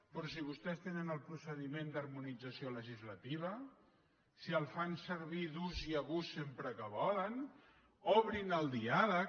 però si vostès tenen el procediment d’harmonització legislativa si el fan servir d’ús i abús sempre que volen obrin el diàleg